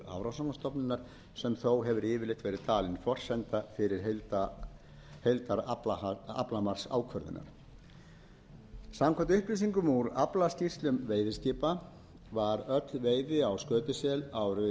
hafrannsóknastofnunar sem þó hefur yfirleitt verið talin forsenda heildaraflamarksákvörðunar samkvæmt upplýsingum úr aflaskýrslum veiðiskipa var öll veiði á skötusel árin nítján hundruð níutíu og fimm til